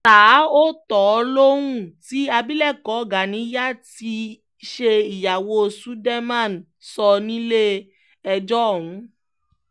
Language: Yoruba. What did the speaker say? ṣá ò tọ̀ ọ́ lohun tí abilékọ ganiya tí í ṣe ìyàwó söldeman sọ nílẹ̀-ẹjọ́ ọ̀hún